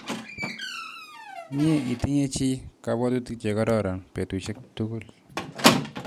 Mye itinye chi kapwotutik chekororon petusyek tukul